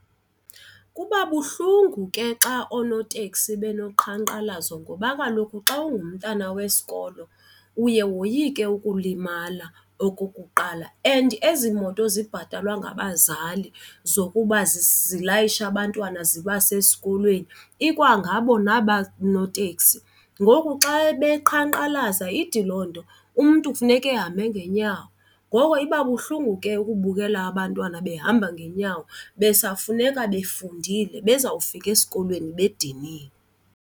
Kuba buhlungu ke xa oonoteksi benoqhankqalazo ngoba kaloku xa ungumntana wesikolo uye woyike ukulimala okokuqala and ezi moto zibhatalwa ngabazali zokuba zilayisha abantwana zibase esikolweni ikwangabo naba noteksi. Ngoku xa beqhankqalaza ithi loo nto umntu kufuneka ahambe ngeenyawo, ngoko iba buhlungu ke ukubukela abantwana behamba ngeenyawo besafuneka befundile bezawufika esikolweni bediniwe.